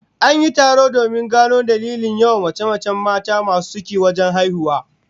An yi taro domin gano dalilin yawan mace-macen mata masu ciki wajen haihuwa